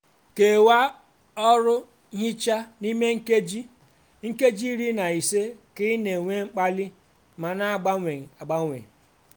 kewaa ọrụ nhicha n'ime nkeji nkeji iri na ise ka ị na-enwe mkpali ma na-agbanwe agbanwe.